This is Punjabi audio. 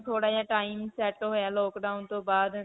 ਥੋੜਾ ਜਿਹਾ time set ਹੋਇਆ lockdown ਤੋਂ ਬਾਅਦ